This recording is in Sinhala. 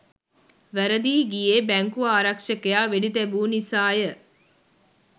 වැරදී ගියේ බැංකු ආරක්ෂකයා වෙඩි තැබූ නිසාය